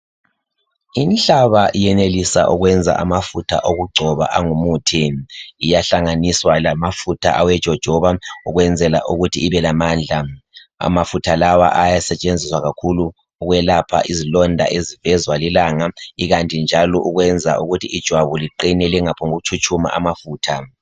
Inhlaba iyenelisa ukwenza amafutha okugcoba angu muthi. Iyahlanganiswa lamafutha awejotshoba ukwenzela ukuthi ibelamandla. Amafutha lawa ayasetshenziswa kakhulu ukwelapha izilonda ezivezwa lilanga ikanti njalo kwenza ukuthi ijwabu liqine lingaphongu tshutshuma amafutha.